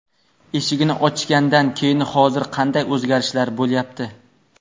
Eshigini ochgandan keyin hozir qanday o‘zgarishlar bo‘lyapti.